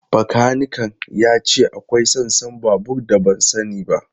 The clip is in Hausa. Bakanikan ya ce akwai sassan babur da ban sani ba.